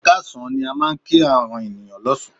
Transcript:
Ẹ káàsán ni a máa ń kí ènìyàn lọ́sàn án.